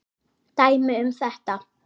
Dæmi um þetta